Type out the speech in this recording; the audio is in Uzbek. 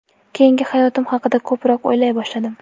Keyingi hayotim haqida ko‘proq o‘ylay boshladim.